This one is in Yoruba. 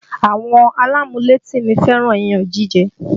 Àwọn alámúlétì mi fẹ́ràn iyán jíjẹ